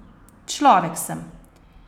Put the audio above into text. Človek sem.